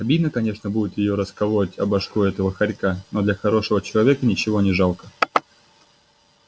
обидно конечно будет её расколотить о башку этого хорька но для хорошего человека ничего не жалко